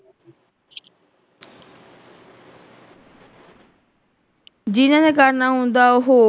ਜਿੰਨਾ ਨੇ ਕਰਨਾ ਹੁੰਦਾ ਉਹ।